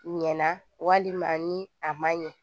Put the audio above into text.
Ɲɛna walima ni a man ɲɛ